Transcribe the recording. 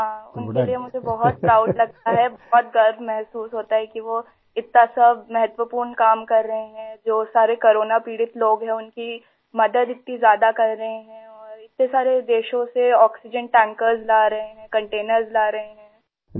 ہاں! اُن کے لئے مجھے بہت پراؤڈ لگتا ہے ، بہت فخر محسوس ہوتا ہے کہ وہ اتنا اہم کام کر رہے ہیں ، جو سارے کورونا سے متاثرہ لوگ ہیں ، اُن کی مدد اتنی زیادہ کر رہے ہیں اور اتنے سارے ملکوں سے آکسیجن ٹینکر لا رہے ہیں ، کنٹینرس لا رہے ہیں